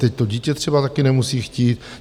Teď to dítě třeba taky nemusí chtít.